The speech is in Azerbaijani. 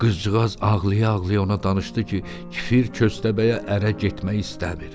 Qızcığaz ağlaya-ağlaya ona danışdı ki, küfür köstəbəyə ərə getmək istəmir.